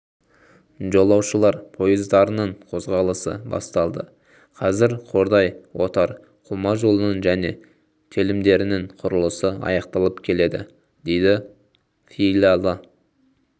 жолаушылар пойыздарының қозғалысы басталды қазір қордай-отар қума жолының және телімдерінің құрылысы аяқталып келеді дейді филиалы